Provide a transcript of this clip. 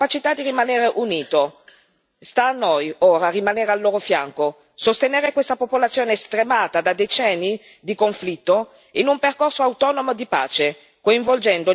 Sta a noi ora rimanere al loro fianco, sostenere questa popolazione stremata da decenni di conflitto in un percorso autonomo di pace, coinvolgendo gli attori internazionali e regionali.